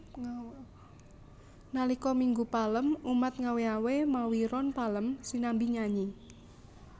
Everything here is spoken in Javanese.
Nalika Minggu Palem umat ngawé awé mawi ron palem sinambi nyanyi